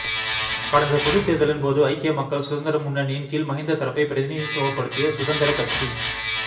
கடந்த பொதுத் தேர்தலின்போது ஐக்கிய மக்கள் சுதந்திர முன்னணியின் கீழ் மஹிந்த தரப்பை பிரதிநிதித்துவப்படுத்திய சுதந்திர கட்சி